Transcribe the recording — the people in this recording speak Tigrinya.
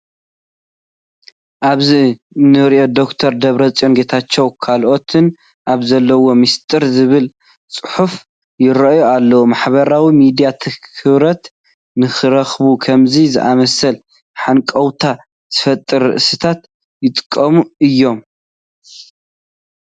ኣብዚ እኒ ዶክተር ደብረፅዮን ጌታቸውን ካልኦትን ኣብ ዘለዉዎ ሚስጥር ዝብል ፅሑፍ ይርአ ኣሎ፡፡ ማሕበራዊ ሚድያ ትኹረት ንኽረኽቡ ከምዚ ዝኣምሰሉ ሃንቀውታ ዝፈጥሩ ርእስታት ይጥቀሙ እዮም፡፡